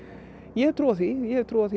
ég hef trú á því ég hef trú á